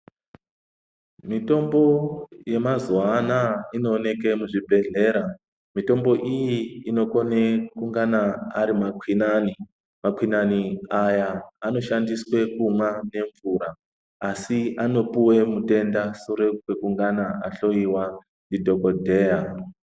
Mitombo yemazuva anaya inooneke muzvibhedhlera mitombo inokone kunge ari makwinani. Makwinani aya anoshandiswe kunwa nemvura. Asi anopuva mutenda sure kwekungana ahloiwa ndidhogodheya.